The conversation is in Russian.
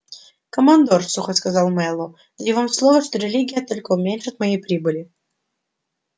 командор сухо сказал мэллоу даю вам слово что религия только уменьшит мои прибыли